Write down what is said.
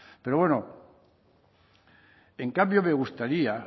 pero bueno en cambio me gustaría